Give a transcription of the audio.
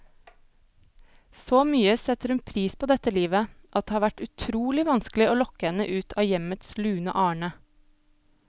Så mye setter hun pris på dette livet, at det har vært utrolig vanskelig å lokke henne ut av hjemmets lune arne.